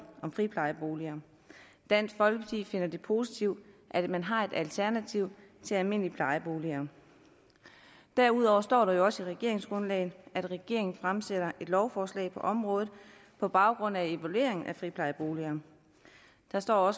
om friplejeboliger dansk folkeparti finder det positivt at man har et alternativ til almindelige plejeboliger derudover står der jo også i regeringsgrundlaget at regeringen fremsætter et lovforslag på området på baggrund af evalueringen af friplejeboliger der står